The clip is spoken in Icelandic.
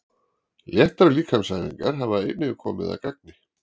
léttar líkamsæfingar hafa einnig komið að gagni